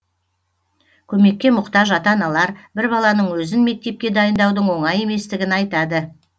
көмекке мұқтаж ата аналар бір баланың өзін мектепке дайындаудың оңай еместігін айтады